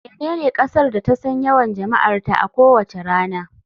Menene kasar da ta san yawan jama'arta a kowace rana.